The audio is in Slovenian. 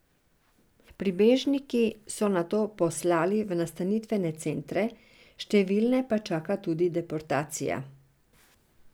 Prebežniki so nato poslali v nastanitvene centre, številne pa čaka tudi deportacija.